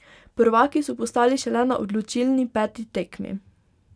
Prvaki so postali šele na odločilni peti tekmi.